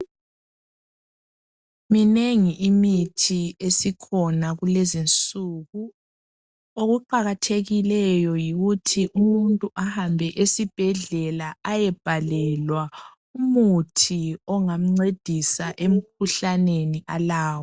Minengi imithi esikhona kulezinsuku. Okuqakathekileyo yikuthi umuntu ahambe esibhedlela ayebhalelwa umuthi ongamncedisa emkhuhlaneni alawo.